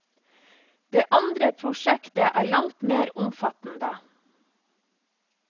Det andre prosjektet er langt mer omfattende.